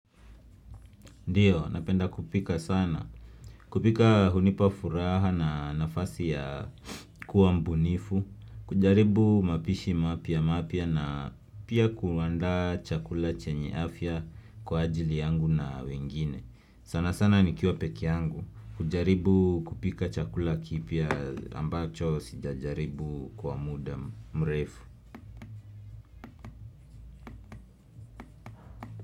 Ndio, napenda kupika sana. Kupika hunipa furaha na nafasi ya kuwa mbunifu. Kujaribu mapishi mapya mapya na pia kuandaa chakula chenye afya kwa ajili yangu na wengine. Sana sana nikiwa peke yangu. Hujaribu kupika chakula kipya ambacho sija jaribu kwa muda mrefu.